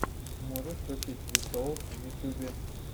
можешь включить ви соус в ютьюбе